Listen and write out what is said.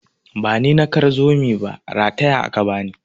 Bani na kar zomi ba, rataya aka bani.